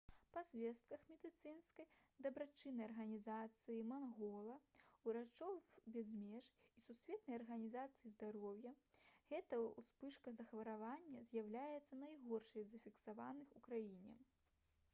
па звестках медыцынскай дабрачыннай арганізацыі «мангола» «урачоў без меж» і сусветнай арганізацыі здароўя гэта ўспышка захворвання з'яўляецца найгоршай з зафіксаваных у краіне